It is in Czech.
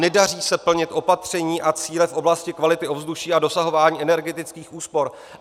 Nedaří se plnit opatření a cíle v oblasti kvality ovzduší a dosahování energetických úspor.